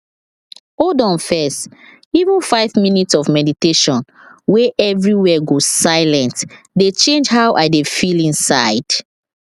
hold on first even five minute of meditation wey everywhere go silient dey change how i dey feel inside